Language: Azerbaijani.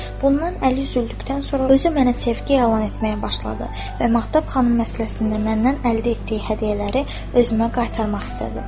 Bundan əli üzüldükdən sonra özü mənə sevgi yalan etməyə başladı və Mahtab xanım məsələsində məndən əldə etdiyi hədiyyələri özümə qaytarmaq istədi.